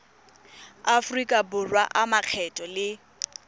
aforika borwa a makgetho le